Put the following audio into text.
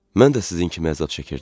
Mən də sizin kimi əzab çəkirdim.